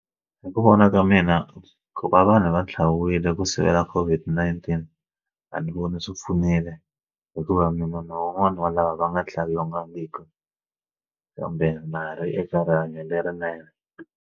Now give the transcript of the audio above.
Hi ku vona ka mina ku va vanhu va tlhaviwile ku sivela COVID-19 a ni voni swi pfunile hikuva munhu wun'wana wa lava va nga hlawuriwangiki kambe marhi eka rihanyo lerinene.